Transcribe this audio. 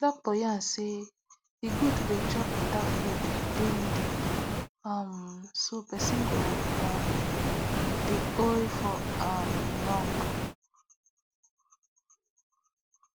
doctor yarn say e good to dey chop better food dey needed um so person go um dey oay for um long